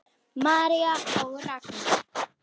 María og Ragnar.